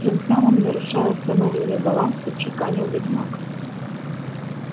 тем самым нарушая установленный баланс отчеканил ведьмак